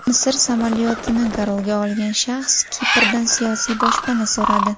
Misr samolyotini garovga olgan shaxs Kiprdan siyosiy boshpana so‘radi.